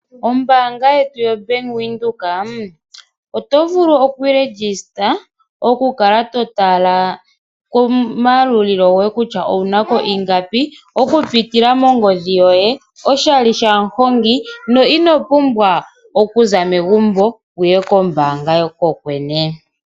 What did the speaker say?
Ombaanga yetu yo Bank Windhoek oto vulu oku ishangitha oku kala to tala komayalulilo goye kutya owunako ingapi oku pitila mongodhi yoye oshali shamuhongi na ino pumbwa oku zamo megumbo wuye kombaanga kokwene.